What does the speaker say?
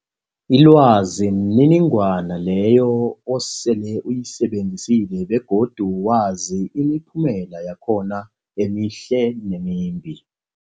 Ilwazi mniningwana leyo osele uyisebenzisile begodu wazi imiphumela yakhona emihle nemimbi.